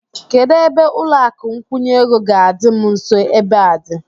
Kedụ ebe ụlọakụ nkwụnye ego ga-adị m nso ebe a dị?